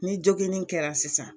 Ni joginni kɛra sisan.